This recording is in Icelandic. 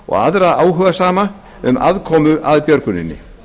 og aðra áhugasama um aðkomu að björguninni